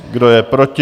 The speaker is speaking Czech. Kdo je proti?